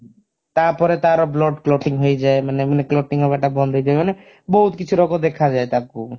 ତାପରେ ତାର blood clotting ହେଇଯାଏ ମାନେ ମାନେ clotting ହବା ଟା ବନ୍ଦ ହେଇଯାଏ ମାନେ ବହୁତ କିଛି ରୋଗ ଦେଖାଯାଏ ତାକୁ